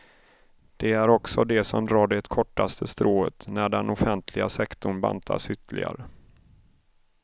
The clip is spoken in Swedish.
Det är också de som drar det kortaste strået när den offentliga sektorn bantas ytterligare.